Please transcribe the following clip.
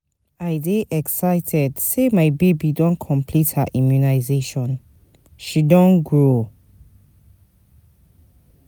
I dey exited sey my baby don complete her immunization, she don dey grow.